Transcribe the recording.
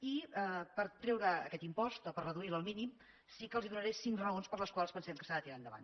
i per treure aquest impost o per reduir lo al mínim sí que els donaré cinc raons per les quals pensem que s’ha de tirar endavant